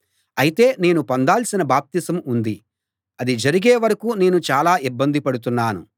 అయితే నేను పొందాల్సిన బాప్తిసం ఉంది అది జరిగే వరకూ నేను చాలా ఇబ్బంది పడుతున్నాను